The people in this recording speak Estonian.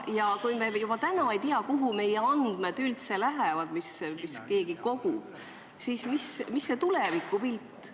Ja kui me juba täna ei tea, kuhu lähevad ikkagi meie andmed, mida keegi kogub, siis mis see tulevikupilt on?